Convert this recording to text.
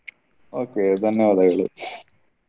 Okay ಧನ್ಯವಾದಗಳು.